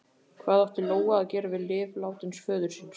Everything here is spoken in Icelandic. Hvað átti Lóa að gera við lyf látins föður síns?